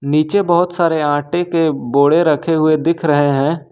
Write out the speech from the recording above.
नीचे बहोत सारे आटे के बोड़े रखे हुए दिख रहे हैं।